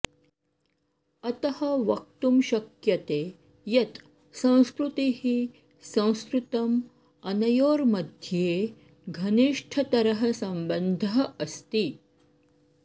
अतः वक्तुं शक्यते यत् संस्कृतिः संस्कृतम् अनयोर्मध्ये घनिष्ठतरः सम्बन्धः अस्ति